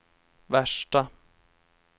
värsta